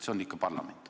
See on siiski parlament.